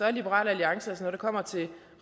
er liberal alliance altså når det kommer til